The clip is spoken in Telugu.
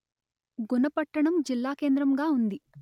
గున పట్టణం జిల్లాకేంద్రంగా ఉంది